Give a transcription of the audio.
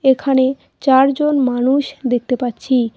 এখানে চারজন মানুষ দেখতে পাচ্ছি।